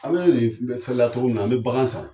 Aw mɛ cogo min na, an mɛ bagan san.